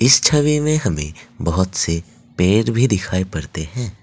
इस छवि में हमें बहोत से पेड़ भी दिखाई पड़ते हैं।